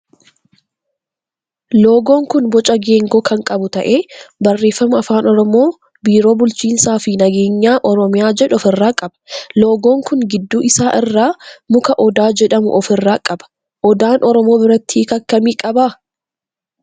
loogoon kun boca geengoo kan qabu ta'ee barreeffama afaan oromoo biiroo bulchinsaa fi nageenya oromiyaa jedhu of irraa qaba. loogoon kun gidduu isaa irraa muka odaa jedhamu of irraa qaba. Odaan oromoo biratti hiika akkamii qaba?